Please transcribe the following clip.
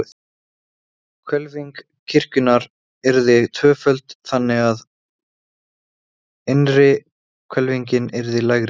Hvelfing kirkjunnar yrði tvöföld, þannig, að innri hvelfingin yrði lægri.